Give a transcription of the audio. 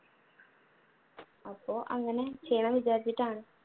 അപ്പൊ അങ്ങനെ ചെയ്യണമെന്ന് വിചാരിച്ചിട്ടാണ്.